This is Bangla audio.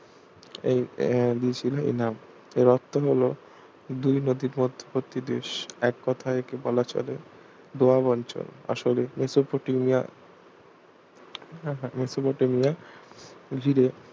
এই আহ দিয়েছিল এই নাম এর অর্থ হল দুই নদীর মধ্যবর্তি দেশ এক কথায় একে বলা চলে দোয়াব অঞ্চল আসলে মেসোপটেমিয়া হ্যাঁ হ্যাঁ মেসোপটেমিয়া জুড়ে